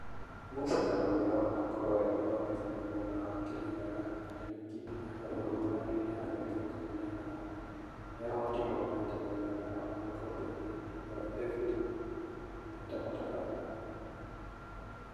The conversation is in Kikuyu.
Musa na ũrĩa wanakorwo e mũthomithania mwena wa Kirinyaga, Nanyuki na Nyahururu handũ-inĩ ha mĩaka ikũmi na ĩnana , nĩahotirwo maita maigana ona gĩkombe-inĩ gĩa FA eta mũtabarĩri.